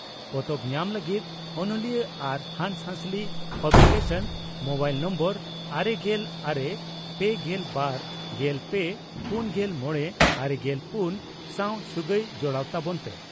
ᱯᱚᱛᱚᱵ ᱧᱟᱢ ᱞᱟᱹᱜᱤᱫ ᱚᱱᱚᱞᱤᱭᱟᱹ ᱟᱨ ᱦᱟᱸᱥᱦᱟᱹᱥᱞᱤ ᱯᱟᱵᱽᱞᱤ ᱠᱮᱥᱚᱱ, (ᱢᱚᱵᱟᱭᱤᱞ ᱱᱟᱢᱵᱟᱨ ᱟᱨᱮᱜᱮᱞ ᱟᱨᱮ ,ᱯᱮᱜᱮᱞ ᱵᱟᱨ ,ᱜᱮᱞ ᱯᱮ ,ᱯᱩᱱᱜᱮᱞ ᱢᱚᱲᱮ ,ᱟᱨᱮᱜᱮᱞ ᱯᱩᱱ ᱥᱟᱶ ᱥᱟᱹᱜᱟᱭ ᱡᱚᱲᱟᱣ ᱛᱟᱵᱚᱱ ᱯᱮ ᱾